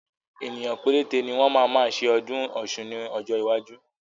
Ènìyàn péréte ni wọn máa ma ṣe ọdún Ọ̀sun ni ọjọ́ iwájú.